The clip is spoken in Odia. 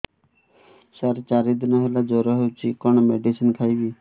ସାର ଚାରି ଦିନ ହେଲା ଜ୍ଵର ହେଇଚି କଣ ମେଡିସିନ ଖାଇବି